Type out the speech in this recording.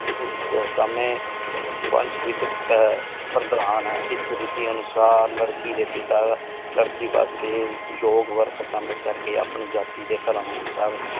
ਓਸ ਸਮਏ ਪੰਚ ਵਿਚ ਪਰਧਾਨ ਇਸ ਰਤੀ ਅਨੁਸਾਰ ਲੜਕੀ ਦੇ ਪਿਤਾ ਲੜਕੀ ਵਾਸਤੇ ਯੋਗਵਰ ਪਸੰਦ ਕਰਕੇ ਆਪਣੀ ਜਾਤੀ ਤੇ ਧਰਮ ਅਨੁਸਾਰ।